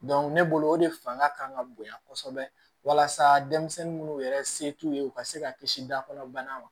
ne bolo o de fanga ka kan ka bonya kosɛbɛ walasa denmisɛnnin munnu yɛrɛ se t'u ye u ka se ka kisi da kɔnɔ bana ma